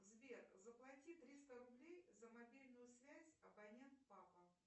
сбер заплати триста рублей за мобильную связь абонент папа